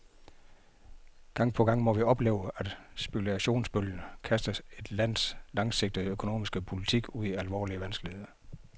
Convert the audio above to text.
Gang på gang må vi opleve, at spekulationsbølger kaster et lands langsigtede økonomiske politik ud i alvorlige vanskeligheder.